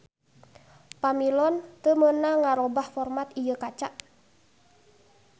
Pamilon teu meunang ngarobah format ieu kaca